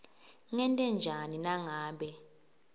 ngente njani nangabe